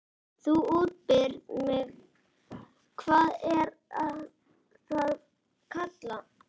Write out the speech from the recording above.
Þú útbýrð fyrir mig- hvað er það kallað?